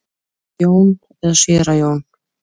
Jón eða séra Jón?